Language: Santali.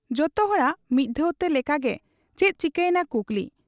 ᱡᱚᱛᱚ ᱦᱚᱲᱟᱜ ᱢᱤᱫ ᱫᱷᱟᱣ ᱛᱮ ᱞᱮᱠᱟᱜᱮ ᱪᱮᱫ ᱪᱤᱠᱟᱹᱭᱮᱱᱟ ᱠᱩᱠᱞᱤ ᱾